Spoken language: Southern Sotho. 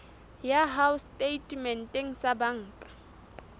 ya hao setatementeng sa banka